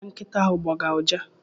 Onye ka nkịta ahụ gbọga ụja?